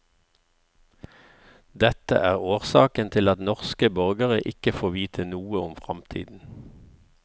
Dette er årsaken til at norske borgere ikke får vite noe om fremtiden.